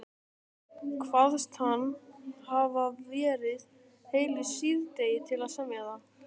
Kvaðst hann hafa varið heilu síðdegi til að semja það.